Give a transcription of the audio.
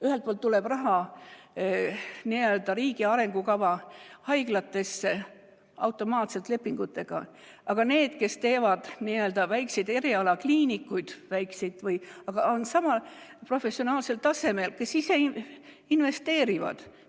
Ühelt poolt tuleb raha n‑ö riigi arengukava haiglatesse automaatselt lepingutega, aga need, kes teevad väikseid erialakliinikuid, on samal professionaalsel tasemel, nad ise investeerivad.